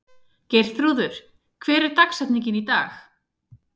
Geirþrúður, hver er dagsetningin í dag?